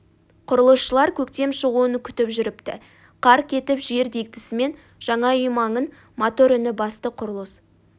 құрылысшылар көктем шығуын күтіп жүріпті қар кетіп жер дегдісімен жаңа үй маңын мотор үні басты құрылыс